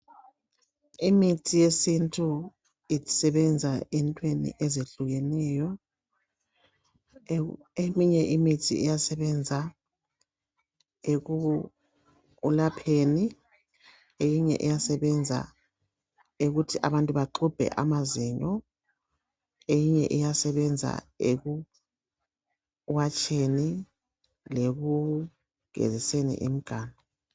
Imithi yesintu isebenza entweni ezehlukeneyo. Eminye imithi iyasebenza ekulapheni, eminye iyasebebenza ukuthi abantu baxubhe amazinyo, eyinye iyasebenza ekuwatsheni, lekugeziseni imiganu.